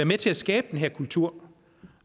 med til at skabe den her kultur